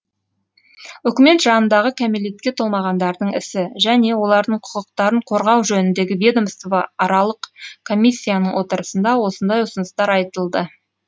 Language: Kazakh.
үкімет жанындағы кәмелетке толмағандардың ісі және олардың құқықтарын қорғау жөніндегі ведомствоаралық комиссияның отырысында осындай ұсыныстар айтылды